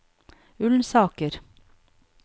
Ullensaker